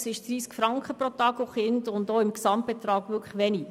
Es sind 30 Franken pro Tag und Kind und auch als Gesamtbetrag wenig.